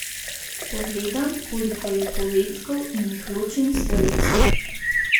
Pogledam, koliko je povedkov in jih ločim z vejico.